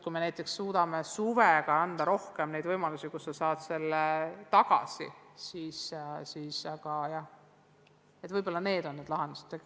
Kui suudame suveks anda rohkem võimalusi, siis see võib-olla ongi lahendus.